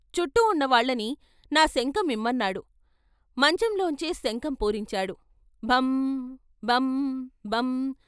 చుట్టూ ఉన్నవాళ్ళని 'నా శంఖం ఇమ్మ న్నాడు' మంచంలోంచే శంఖం పూరించాడు భం భం భం...